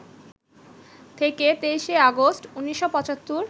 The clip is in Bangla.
থেকে ২৩শে আগস্ট, ১৯৭৫